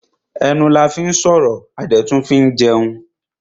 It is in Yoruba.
Ẹnu la fín sọ̀rọ̀ a dẹ̀ tún fín jẹun.